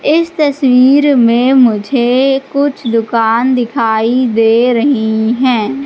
इस तस्वीर में मुझे कुछ दुकान दिखाई दे रही हैं।